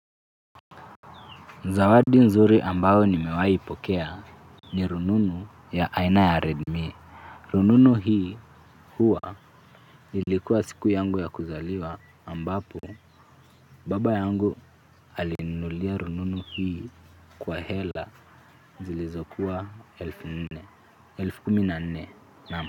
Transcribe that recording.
Zawadi nzuri ambayo nimewahi ipokea ni rununu ya aina ya Redmi. Rununu hii huwa ilikuwa siku yangu ya kuzaliwa ambapo baba yangu alininunulia rununu hii kwa hela zilizokuwa elfu nne, elfu kumi na nne naam.